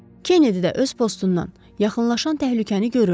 Kenedi də öz postundan yaxınlaşan təhlükəni görürdü.